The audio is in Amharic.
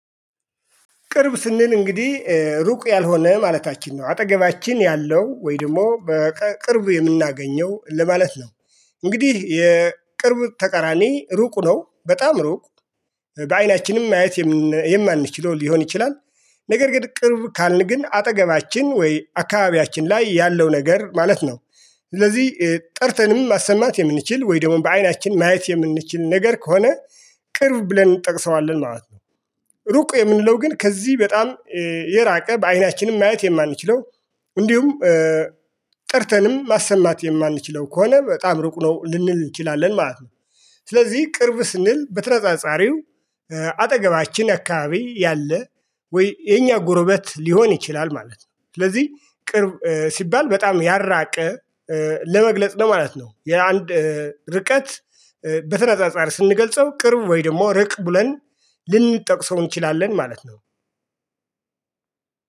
ቅርብ ስንል እንግዲህ ሩቅ ያልሆነ ማለታችን ነው አጠገባችን ያለው ወይደሞ በቅርብ የምናገኘው ለማለት ነው። እንግዲህ የቅርብ ተቀራኒ ሩቅ ነው በጣም ሩቅ በአይናችንም ማየት የማንችለው ሊሆን ይችላል። ነገር ግን ቅርብ ካልን ግን አጠገባችን ወይ አካባቢያችን ላይ ያለው ነገር ማለት ነው። ስለዚህ ጠርተንም ማሰማት የምንችል ወይ ደግሞ በአይናችን ማየት የምንችል ነገር ከሆነ ቅርብ ብለን እንጠቅሰዋለን ማለት ነው። ሩቁ የምንለው ግን ከዚህ በጣም የራቀ በአይናችንም ማየት የማንችለው። እንዲሁም ጠርተንም ማሰማት የማንችለው ከሆነ በጣም ሩቁ ነው ልንል እንችላለን ማለት ነው። ስለዚህ ቅርብ ስንል በተነፃፃሪው አጠገባችን አካባቢ ያለ ወይ የኛ ጎረቤት ሊሆን ይችላል ማለት ነው። ስለዚህ ቅርብ ሲባል በጣም ያራቀ ለመግለጽ ነው ማለት ነው። የአንድ ርቀት በተነጻጻሪ ስንገልጸው ቅርብ ወይ ደግሞ ርቅ ብለን ልንጠቅሰው እንችላለን ማለት ነው።